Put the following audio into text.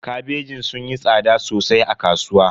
Kabejin sun yi tsada sosai a kasuwa.